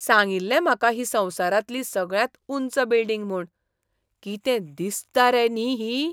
सांगिल्लें म्हाका ही संवसारांतली सगळ्यांत उंच बिल्डिंग म्हूण. कितें दिसता रे न्ही ही.